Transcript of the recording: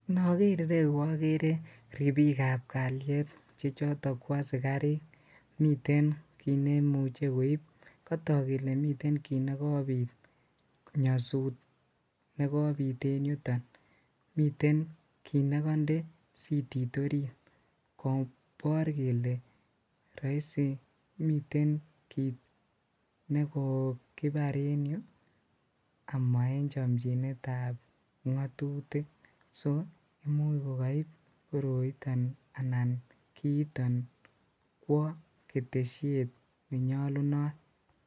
Noker ireyu okere ripik ab kaliet, chechoto ko asikarik. Miten kiit nemuche koip, kotok kele miten kiit nekopiit nyosut nekopiit en yuton. Miten kiit nekonde sitit orit kopore kele miten roisi miten kiit nekokipar en yuu ama en chomchinet ab ngatutik. So, imuch kokoip koroiton anan kiiton kwo ketesiet nenyolunot.